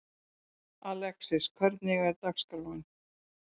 Alexis, hvernig er dagskráin?